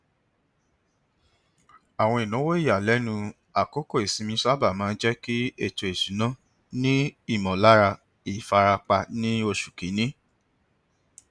àwọn ináwó ìyàlẹnu àkókò ìsinmi sábà máa ń jẹ kí ètò isúnà ni ìmọlára ìfarapa ní oṣù kínní